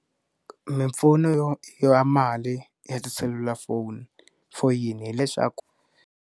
Mimpfuno ya mali ya tiselulafoni foyini hileswaku.